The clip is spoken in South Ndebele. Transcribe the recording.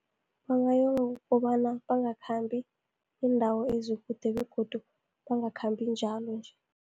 Kobana bangakhambi iindawo ezikude, begodu bangakhambi njalo nje.